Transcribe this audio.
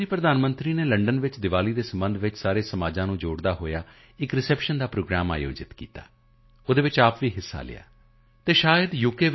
Britain ਦੀ ਪ੍ਰਧਾਨ ਮੰਤਰੀ ਨੇ ਬ੍ਰਿਟੇਨ ਵਿੱਚ ਦੀਵਾਲੀ ਸਬੰਧੀ ਸਾਰੇ ਸਮਾਜਾਂ ਨੂੰ ਜੋੜਦਾ ਹੋਇਆ ਇੱਕ ਪ੍ਰੋਗਰਾਮ ਰੱਖਿਆ ਖੁਦ ਹਿੱਸਾ ਲਿਆ ਅਤੇ ਸ਼ਾਇਦ u